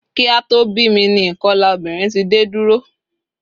Kí a tó bí mi ni ìkolà obìnrin ti dé dúró